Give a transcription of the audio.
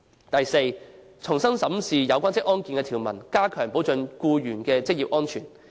第四，重新審視有關職安健法例的條文，加強保障僱員的職業安全。